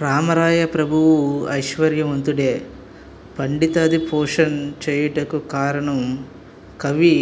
రామరాయ ప్రభువు ఐశ్వర్యవంతుడై పండితాదిపోషణ్ చేయుటకు కారణం కవి